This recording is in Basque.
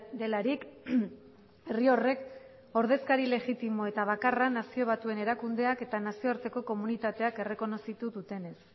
delarik herri horrek ordezkari legitimo eta bakarra nazio batuen erakundeak eta nazioarteko komunitateak errekonozitu dutenez